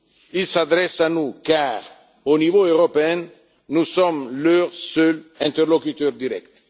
Ils s'adressent à nous car, au niveau européen, nous sommes leurs seuls interlocuteurs directs.